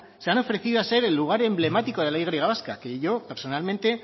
se han ofrecido a ser el lugar emblemático de la y vasca que yo personalmente